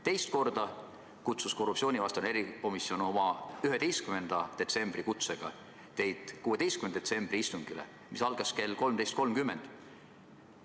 Teist korda kutsus korruptsioonivastane erikomisjon 11. detsembril saadetud kutsega teid 16. detsembri istungile, mis algas kell 13.30.